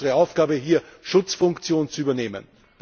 Ich glaube, das ist unsere Aufgabe hier Schutzfunktion zu übernehmen.